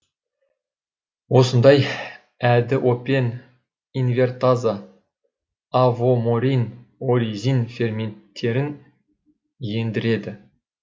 осындай әдіопен инвертаза авоморин оризин ферменттерін ендіреді